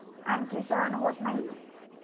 आणखी सहन होत नाही.